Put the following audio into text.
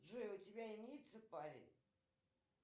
джой у тебя имеется парень